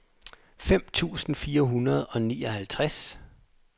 fem tusind fire hundrede og nioghalvtreds